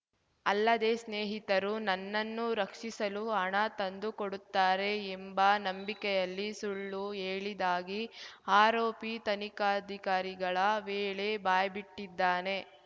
ಅಲ್ಲದೆ ಸ್ನೇಹಿತರು ನನ್ನನ್ನು ರಕ್ಷಿಸಲು ಹಣ ತಂದು ಕೊಡುತ್ತಾರೆ ಎಂಬ ನಂಬಿಕೆಯಲ್ಲಿ ಸುಳ್ಳು ಹೇಳಿದಾಗಿ ಆರೋಪಿ ತನಿಖಾಧಿಕಾರಿಗಳ ವೇಳೆ ಬಾಯ್ಬಿಟ್ಟಿದ್ದಾನೆ